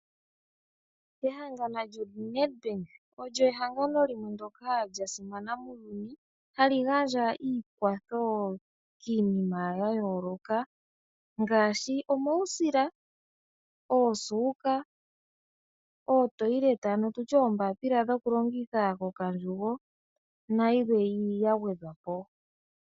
Ehangano lyoNedBank olyo ehangano ndyoka lya simana muuyuni hali gandja omakwatho kiinima ya yooloka ngaashi omausila, oosuuka noombapila dhokulongitha kokandjugo nayikwawo ya gwedhwa po.